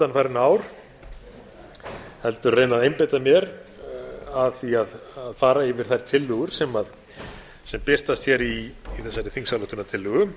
undanfarin ár heldur reyna að einbeita mér að því að fara yfir þær tillögur sem birtast í þessari þingsályktunartillögu